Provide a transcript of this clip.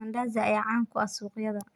Mandazi ayaa caan ka ah suuqayada.